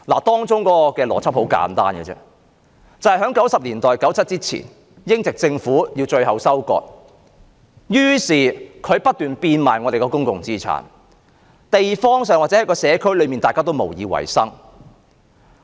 當中的邏輯很簡單，就是在1990年代 ，1997 年前，英國殖民政府要作最後收割，於是它不斷變賣我們的公共資產，導致社區裏大家都無以為生。